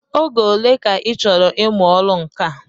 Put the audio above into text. Oge ole ka ịchọrọ ịmụ ọrụ nka?